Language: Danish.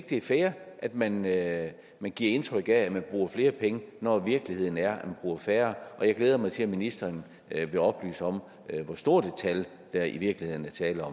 det er fair at man at man giver indtryk af at man bruger flere penge når virkeligheden er at man bruger færre og jeg glæder mig til at ministeren vil oplyse hvor stort et tal der i virkeligheden er tale om